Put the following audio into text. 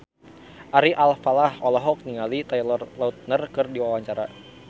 Ari Alfalah olohok ningali Taylor Lautner keur diwawancara